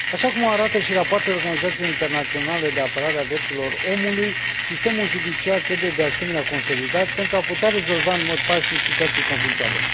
Așa cum o arată și rapoartele organizațiilor internaționale de apărare a drepturilor omului, sistemul judiciar trebuie, de asemenea, consolidat pentru a putea rezolva în mod pașnic situații conflictuale.